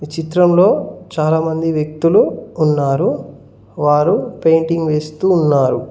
ఈ చిత్రంలో చాలామంది వ్యక్తులు ఉన్నారు వారు పెయింటింగ్ వేస్తూ ఉన్నారు.